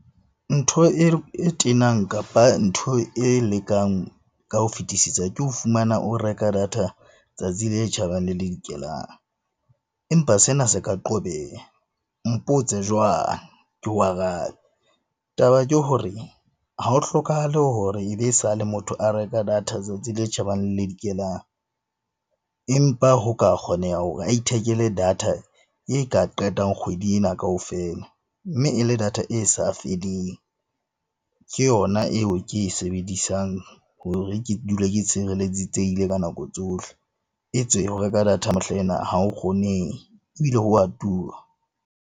Ntho e tenang kapa ntho e lekang ka ho fetisisa ke ho fumana o reka data tsatsi le tjhabang le le dikelang. Empa sena se ka qobeha mpotse jwang, ke o arabe. Taba ke hore ha ho hlokahale hore e be sale motho a reka data tsatsi le tjhabang le le dikelang. Empa ho ka kgoneha hore a ithekele data e ka qetang kgwedi ena kaofela, mme e le data e sa feleng. Ke yona eo ke e sebedisang hore ke dule ke tshireletsehile ka nako tsohle e tswe ho reka data mehlaena ha ho kgonehe ebile ho a tura.